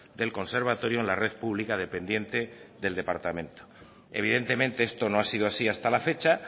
del conservatorio en la red pública dependiente del departamento evidentemente esto no ha sido así hasta la fecha